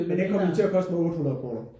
Men den kom jo til at koste mig 800 kroner